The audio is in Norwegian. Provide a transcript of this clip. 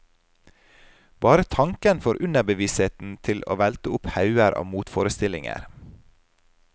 Bare tanken får underbevisstheten til velte opp hauger av motforestillinger.